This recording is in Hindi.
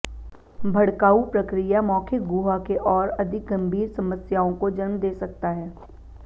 भड़काऊ प्रक्रिया मौखिक गुहा के और अधिक गंभीर समस्याओं को जन्म दे सकता है